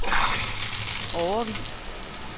årevis